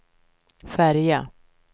färja